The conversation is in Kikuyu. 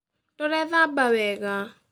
Ndũrethamba wega